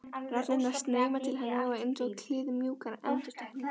Raddirnar streyma til hennar einsog kliðmjúkar endurtekningar.